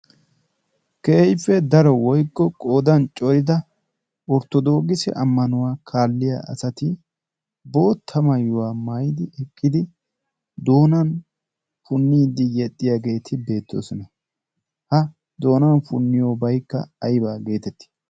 keehiife daro woiyko qoodan corida orttodoogisi ammanuwaa kaalliya asati bootta mayuwaa mayidi eqqidi doonan punniidi yexxiyaageeti beettoosona ha doonan punniyobaikka aibaa geetettii